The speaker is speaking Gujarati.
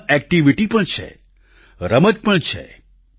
તેમાં એક્ટિવીટી પણ છે રમત પણ છે